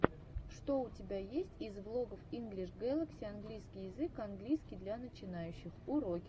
что у тебя есть из влогов инглиш гэлакси английский язык английский для начинающих уроки английского языка